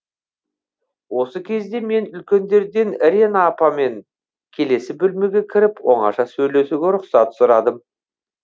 осы кезде мен үлкендерден рена апамен келесі бөлмеге кіріп оңаша сөйлесуге рұқсат сұрадым